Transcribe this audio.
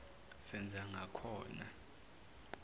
senzangakhona